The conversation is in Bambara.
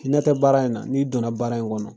I ɲɛ tɛ baara in na? N'i donna baara in kɔnɔ